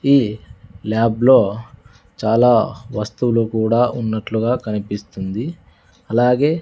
ఈ ల్యాబ్ లో చాలా వస్తువులు కూడా ఉన్నట్లుగా కనిపిస్తుంది అలాగే--